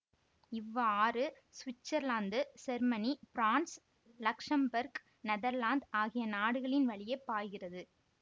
இவ் ஆறு Switzerland Germany France Luxembourg Netherlands ஆகிய நாடுகளின் வழியே பாய்கிறது